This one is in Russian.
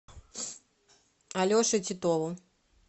алеше титову